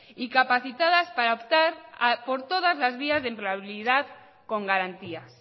y capacitadas para optar por todas las vías de empleabilidad con garantías